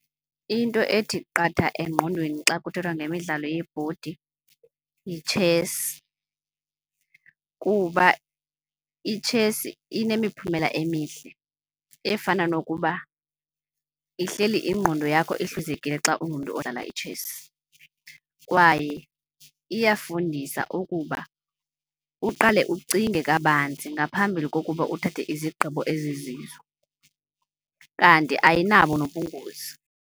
Into ethi qatha engqondweni xa kuthethwa nge imidlalo yebhodi yitshesi kuba itshesi inemiphumela emihle efana nokuba ihleli ingqondo yakho ihluzekile xa ungumntu omdala itshesi. Kwaye iyafundisa ukuba uqale ucinge kabanzi ngaphambili kokuba uthathe izigqibo ezizizo, kanti ayinabo nobungozi.